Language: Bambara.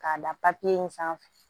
K'a da in sanfɛ